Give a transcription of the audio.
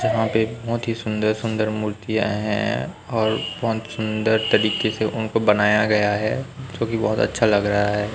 जहां पे बहोत ही सुंदर सुंदर मूर्तियां हैं और बहोत सुंदर तरीके से उनको बनाया गया है जो कि बहोत अच्छा लग रहा है।